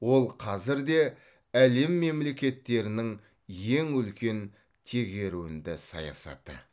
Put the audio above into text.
ол қазір де әлем мемлекеттерінің ең үлкен тегеруінді саясаты